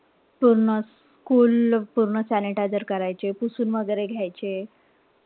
पूर्ण school पूर्ण sanitizer करायचे. पुसून वगैरे घायचे.